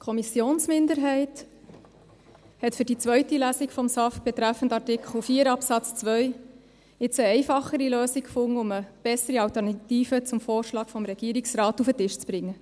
Die Kommissionsminderheit hat für die zweite Lesung des SAFG betreffend Artikel 4 Absatz 2 jetzt eine einfachere Lösung gefunden, um eine bessere Alternative zum Vorschlag des Regierungsrates auf den Tisch zu bringen.